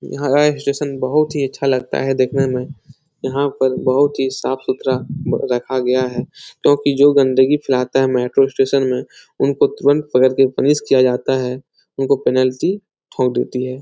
यहाँ का स्टेशन बहुत ही अच्छा लगता है देखने में यहाँ पर बहुत ही साफ-सुथरा रखा गया है तो की जो गंदगी फैलाता है मेट्रो स्टेशन में उनको तुरंत पकड़ के पनिश किया जाता है उनको पेनल्टी ठोक देती है।